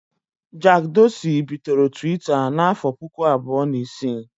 Jack Dorsey bidoro Twitter n'afọ puku abụọ na isii